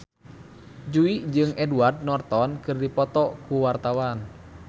Jui jeung Edward Norton keur dipoto ku wartawan